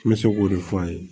N bɛ se k'o de fɔ a ye